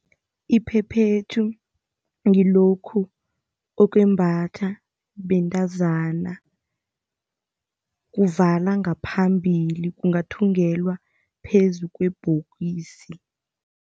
Iphephethu ngilokhu okwembathwa bentazana. Kuvala ngaphambili, kungathungelwa phezu kwebhokisi.